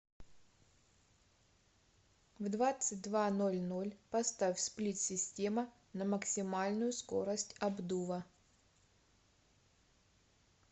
в двадцать два ноль ноль поставь сплит система на максимальную скорость обдува